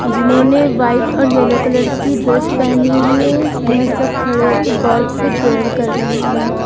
जिन्होंने व्हाइट और yellow colour की ड्रेस पहनी हुई है यह सब खड़े होकर गॉड से प्रेयर कर रहे हैं।